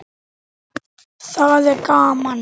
Það er gaman.